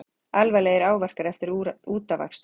Alvarlegir áverkar eftir útafakstur